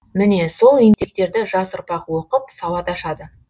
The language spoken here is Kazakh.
міне сол еңбектерді жас ұрпақ оқып сауат ашады